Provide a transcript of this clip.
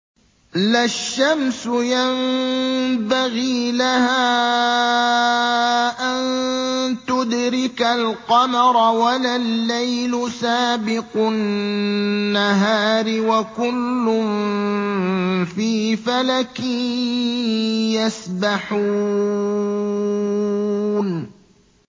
لَا الشَّمْسُ يَنبَغِي لَهَا أَن تُدْرِكَ الْقَمَرَ وَلَا اللَّيْلُ سَابِقُ النَّهَارِ ۚ وَكُلٌّ فِي فَلَكٍ يَسْبَحُونَ